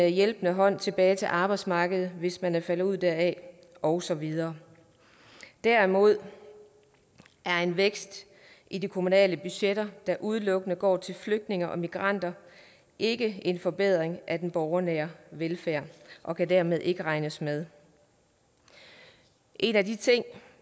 hjælpende hånd tilbage til arbejdsmarkedet hvis man er faldet ud deraf og så videre derimod er en vækst i de kommunale budgetter der udelukkende går til flygtninge og migranter ikke en forbedring af den borgernære velfærd og kan dermed ikke regnes med en af de ting